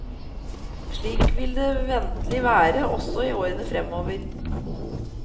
Slik vil det ventelig være også i årene fremover.